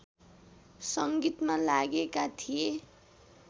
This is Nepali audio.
सङ्गीतमा लागेका थिए